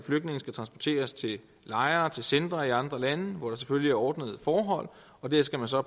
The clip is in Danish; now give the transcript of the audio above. flygtninge skal transporteres til lejre og centre i andre lande hvor der selvfølgelig er ordnede forhold og der skal der så